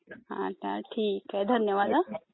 हा हा ठीक आहे. धन्यवाद हा..